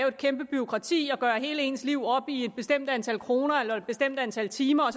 et kæmpe bureaukrati og at hele ens liv skal gøres op i et bestemt antal kroner eller et bestemt antal timer